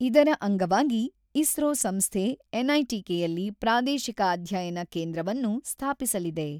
ಇದರ ಅಂಗವಾಗಿ ಇಸ್ರೋ ಸಂಸ್ಥೆ, ಎನ್‌ಐಟಿಕೆಯಲ್ಲಿ ಪ್ರಾದೇಶಿಕ ಅಧ್ಯಯನ ಕೇಂದ್ರವನ್ನು ಸ್ಥಾಪಿಸಲಿದೆ.